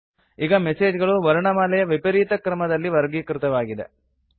ಈಗ ಮೆಸೇಜ್ ಗಳು ವರ್ಣಮಾಲೆಯ ವಿಪರೀತ ಕ್ರಮದಲ್ಲಿ ವರ್ಗೀಕೃತವಾಗಿವೆ